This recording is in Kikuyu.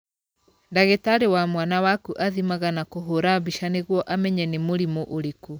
Ndagĩtarĩ wa mwana waku athimaga na kũhũra mbica nĩguo amenye nĩ mũrimũ ũrĩkũ.